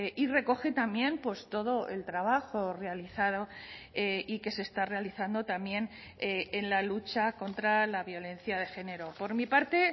y recoge también pues todo el trabajo realizado y que se está realizando también en la lucha contra la violencia de género por mi parte